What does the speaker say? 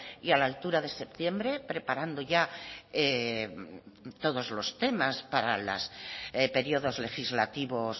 y a la altura de septiembre preparando ya todos los temas para los periodos legislativos